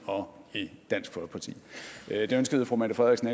og i dansk folkeparti det ønskede fru mette frederiksen